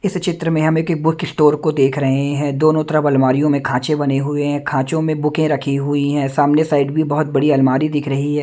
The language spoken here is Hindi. इस चित्र में हम एक बुक स्टोर को देख रहे हैं दोनों तरफ अलमारि यों में खांचे बने हुए हैं खांचों में बुकें रखी हुई हैं सामने साइड भी बहुत बड़ी अलमारी दिख रही है।